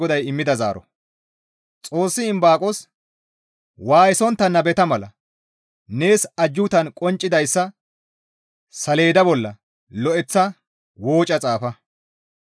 Xoossi Imbaaqos, «Waayisontta nababettana mala nees ajjuutan qonccidayssa saleeda bolla lo7eththa wooca xaafa.